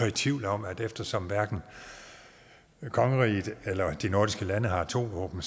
i tvivl om at eftersom hverken kongeriget eller de nordiske lande har atomvåben